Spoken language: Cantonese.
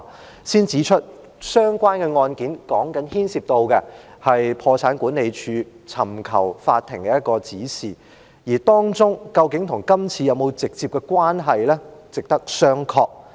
我先指出，相關案件牽涉到破產管理署尋求法庭指示的個案，而當中究竟與今次是否有直接關係呢？值得商榷。